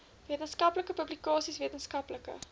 wetenskaplike publikasies wetenskaplike